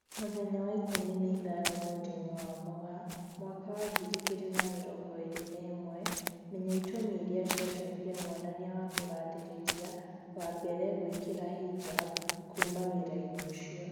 Mũthenya wa ikũmi na ithano mweri-inĩ wa Mũgaa mwaka wa ngiri igĩri na mĩrongo ĩri na ĩmwe, Menya itũmi irĩa ciatumire mwonania wa kugathĩrĩria wa mbere gwĩkira hijab "kuma wĩra-inĩ ucio"